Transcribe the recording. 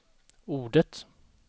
ordet